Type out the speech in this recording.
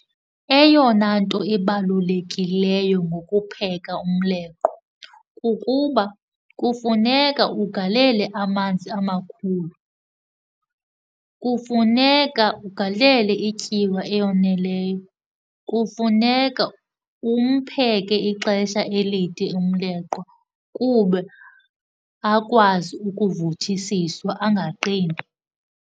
Eyona nto ibalulekileyo ngokupheka umleqwa kukuba kufuneka ugalele amanzi amakhulu. Kufuneka ugalele ityiwa eyoneleyo, kufuneka umpheke ixesha elide umleqwa kube akwazi ukuvuthisiswa angaqini.